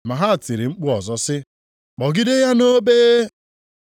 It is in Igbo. Ma ha tiri mkpu ọzọ sị, “Kpọgide ya nʼobe!” + 15:13 Nʼụzọ dị otu a a jụrụ Jisọs Kraịst.